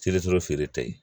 Selituru feere ta ye